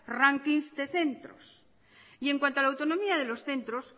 rankings de centros en cuanto a la autonomía de los centros